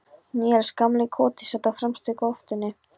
Níels gamli í Koti sat á fremstu þóftunni.